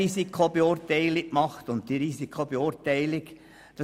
Dort wurde auch eine Risikobeurteilung vorgenommen.